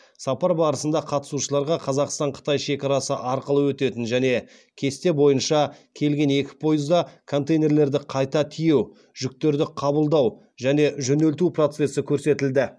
сапар барысында қатысушыларға қазақстан қытай шекарасы арқылы өтетін және кесте бойынша келген екі пойызда контейнерлерді қайта тиеу жүктерді қабылдау және жөнелту процесі көрсетілді